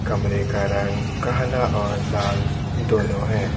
कमरे का रंग काला और लाल दोनों हैं।